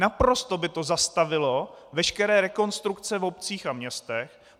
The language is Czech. Naprosto by to zastavilo veškeré rekonstrukce v obcích a městech.